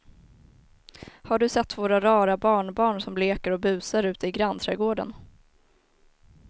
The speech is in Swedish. Har du sett våra rara barnbarn som leker och busar ute i grannträdgården!